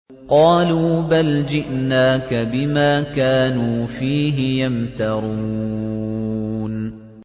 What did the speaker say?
قَالُوا بَلْ جِئْنَاكَ بِمَا كَانُوا فِيهِ يَمْتَرُونَ